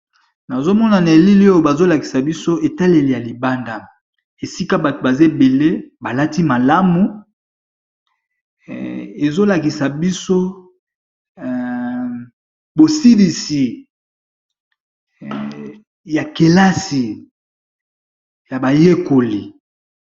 Nazomona na elili oyo bazolakisa biso etaleli ya libanda esika bato baza ebele balati malamu, ezolakisa biso bosilisi ya kelasi ya bayekoli.